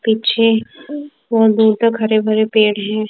पीछे बहोत दूर तक हरे भरे पेड़ हैं।